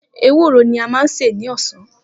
Ewúro ni a máa sè ní ọ̀sán.